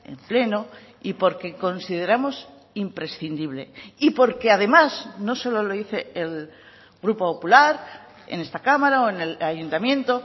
en pleno y porque consideramos imprescindible y porque además no solo lo dice el grupo popular en esta cámara o en el ayuntamiento